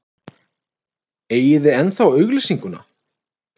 Eigið þið ennþá auglýsinguna?